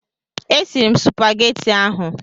E siri m supageti ahụ.